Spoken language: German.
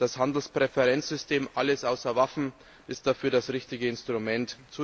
Das Handelspräferenzsystem Alles außer Waffen ist dafür das richtige Instrument.